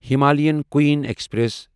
Himalayan Queen express